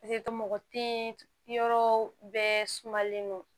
mɔgɔ te yen yɔrɔ bɛɛ sumalen don